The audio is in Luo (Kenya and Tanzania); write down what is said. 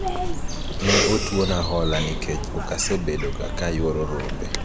ne otwona hola nikech okasebedo ga ka ayuoro rombe